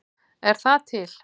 Er það til?